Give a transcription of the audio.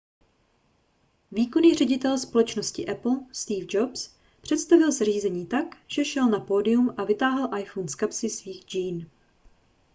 výkonný ředitel společnosti apple steve jobs představil zařízení tak že šel na pódium a vytáhl iphone z kapsy svých džín